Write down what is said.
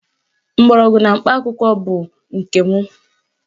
Mgbọrọgwụ na mkpa akwụkwọ ahụ bụ nke m